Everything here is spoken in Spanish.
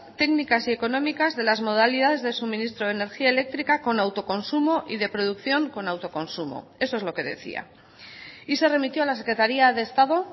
técnicas y económicas de las modalidades de suministro de energía eléctrica con autoconsumo y de producción con autoconsumo eso es lo que decía y se remitió a la secretaría de estado